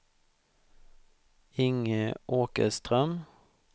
Inge Åkerström